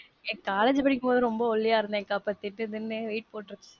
என் college படிக்கும் போது ரோம்பவ ஒல்லியா இருந்தேன் கா அப்ப தின்னு weight போட்ருக்கேன்.